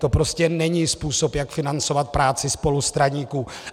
To prostě není způsob, jak financovat práci spolustraníků.